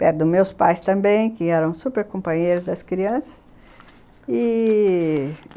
Perto dos meus pais também, que eram super companheiros das crianças i-i